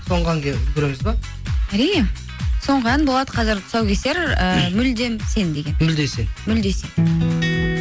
соңғы әнге үлгіреміз бе әрине соңғы ән болады қазір тұсаукесер ыыы мүлдем сен деген мүлде сен мүлде сен